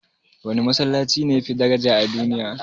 Wane Masallaci ne yafi daraja a duniya?